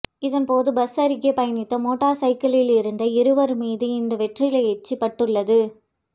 இதன்போது பஸ் அருகே பயணித்த மோட்டார் சைக்கிளில் இருந்த இருவர் மீது இந்த வெற்றிலை எச்சில் பட்டுள்ளது